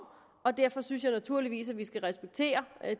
og derfor synes jeg naturligvis at vi skal respektere